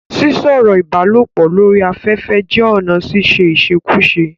Sísọ̀rọ̀ ìbálòpọ̀ lori afẹfẹ jẹ́ ọ̀nà ṣiṣe íṣekúṣe.